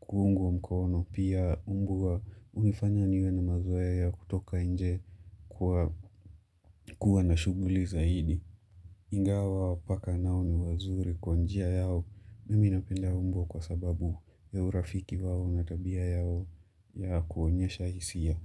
kuungwa mkono pia mbwa hunifanya niwe na mazoea ya kutoka nje kuwa na shughuli zaidi. Ingawa paka nao ni wazuri kwa njia yao. Mimi napenda umbwa kwa sababu ya urafiki wao na tabia yao ya kuonyesha hisia.